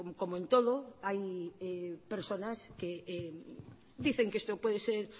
como en todo hay personas que dicen que esto puede ser